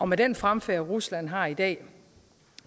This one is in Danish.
med den fremfærd rusland har i dag og